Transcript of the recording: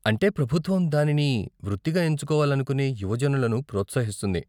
అంటే ప్రభుత్వం దానిని వృత్తిగా ఎంచుకోవాలనుకునే యువజనులను ప్రోత్సహిస్తుంది.